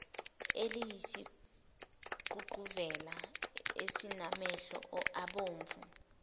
eliyisiququvela esinamehlo abomvu